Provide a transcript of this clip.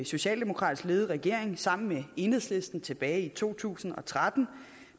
socialdemokratisk ledede regering sammen med enhedslisten tilbage i to tusind og tretten